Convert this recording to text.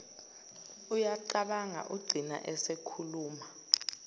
uyacabanga ugcina esekhuluma